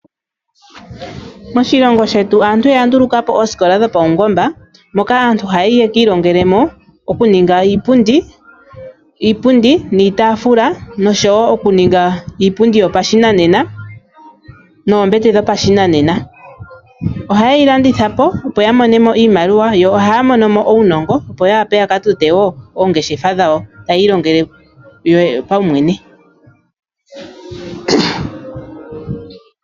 Moshilongo shetu aantu oya ndulukapo oosikola dhopaungomba moka aantu haya yi yekiilongele mo okuninga iipundi niitaafula noshowo okuninga iipundi yopashinanena noombete dhopashinanena ohayeyi landithapo opo ya mone mo iimaliwa yo ohaya mono mo uunongo opo ya wape ya ka tote oongeshefa dhawo taya ilongele kuyo yene .